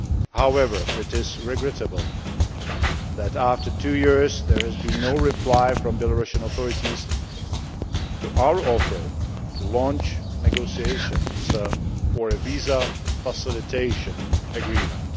However, it is regrettable that after two years there has been no reply from Belarusian authorities to our offer to launch negotiations for a visa facilitation agreement.